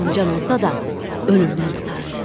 Yarımcan olsa da ölümdən qurtardı.